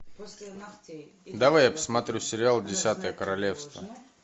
давай я посмотрю сериал десятое королевство